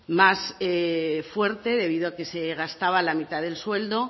más fuerte debido a que se gastaba la mitad del sueldo